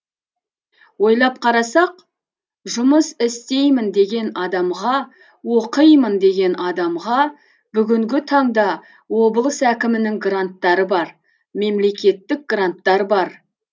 ойлап қарасақ жұмыс істеймін деген адамға оқимын деген адамға бүгінгі таңда облыс әкімінің гранттары бар мемлекеттік гранттар бар